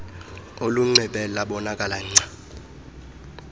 ulinxibe labonakala gca